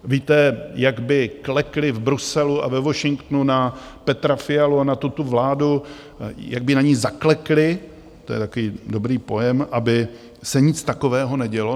Víte, jak by klekli v Bruselu a ve Washingtonu na Petra Fialu a na tu vládu, jak by na ni zaklekli - to je takový dobrý pojem - aby se nic takového nedělo?